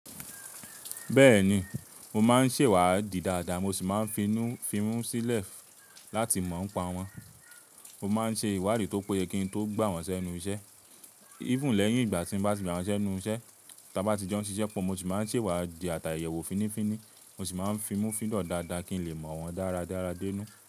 Bẹ́ẹ̀ni, mo máa ń sèwá di dáadáa mo sì máa ń fi mú sílẹ̀ láti mọ̀ọ́ pa wọ́n. Mo máa ń ṣe ìwádìí tó péye kí n tó gbà wọ́n sẹ́nu iṣẹ́. Íbù lẹ́yìn ìgbà tí mo bá ti gbà wọ́n sẹ́nu iṣẹ́, tí a bá ti jẹ́ wọ́n ṣíṣẹ́ pọ̀ mo sì máa ń sèwá di ata ìyẹ̀wò fínífíní. Mo sì máa ń fi mú fídàn dáadáa kí n lè mọ̀ wọ́n dáradára dé inú.